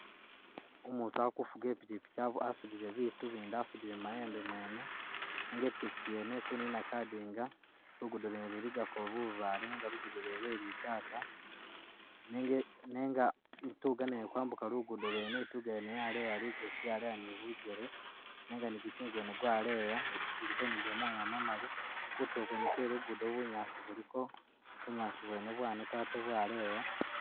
Umutu akufuga ipikyipikyi asudile bitu bindi asudile mu mayembe mwene nenga ipikyipikyi yene ikunina kadinga , lugudo lwene luligako bubale nenga lugudo lwene lwe’litaaka nenga ituga nayo ili kwambuka lugudo lwene yaleya ligosi yaleya ni bugele nenga ni gukyinga gwene gwaleya guliko ni gamoya mamali , kutulo kwene kwe lugudo bunyaasi buliko bunyaasi bwene bwaneta ate bwaleya.